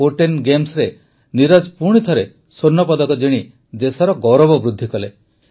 Kuortane ଗେମ୍ସରେ ନୀରଜ ପୁଣିଥରେ ସ୍ୱର୍ଣ୍ଣପଦକ ଜିଣି ଦେଶର ଗୌରବ ବୃଦ୍ଧି କଲେ